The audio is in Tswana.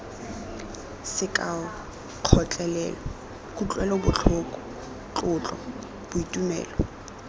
sekao kgotlelelo kutlwelobotlhoko tlotlo boitumelo